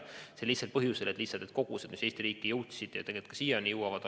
See oli nii sel lihtsal põhjusel, et need vaktsiinikogused, mis Eesti riiki jõudsid, olid väga väiksed.